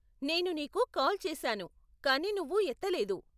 నేను నీకు కాల్ చేశాను, కానీ నువ్వు ఎత్తలేదు.